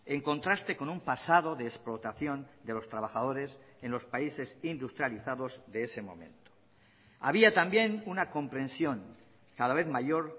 en contraste con un pasado de explotación de los trabajadores en los países industrializados de ese momento había también una comprensión cada vez mayor